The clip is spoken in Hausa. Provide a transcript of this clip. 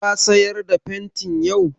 Ka sayar da fenti yau?